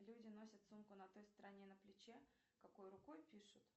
люди носят сумку на той стороне на плече какой рукой пишут